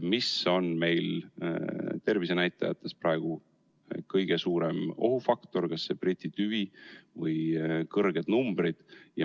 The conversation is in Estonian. Mis on meil tervisenäitajates praegu kõige suurem ohufaktor, kas see Briti tüvi või kõrged numbrid?